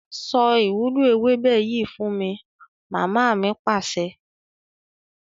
Sọ ìwúlò ewébẹ̀ yìí fún mi! Mama mi Pàṣẹ.